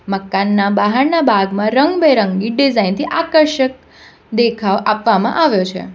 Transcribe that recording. મકાનના બહારના ભાગમાં રંગબેરંગી ડિઝાઇન થી આકર્ષક દેખાવ આપવામાં આવ્યો છે.